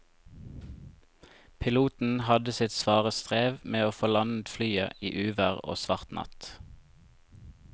Piloten hadde sitt svare strev med å få landet flyet i uvær og svart natt.